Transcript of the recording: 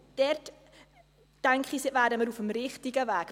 Dort, denke ich, wären wir auf dem richtigen Weg.